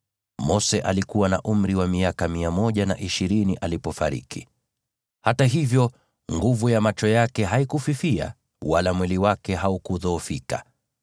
Mose alikuwa na umri wa miaka mia moja na ishirini alipofariki; hata hivyo nguvu ya macho yake haikufifia wala mwili wake haukudhoofika.